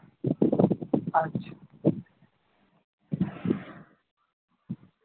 আচ্ছা।